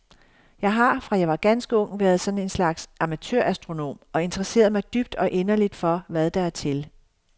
Jeg har, fra jeg var ganske ung, været sådan en slags amatørastronom og interesseret mig dybt og inderligt for, hvad der er til.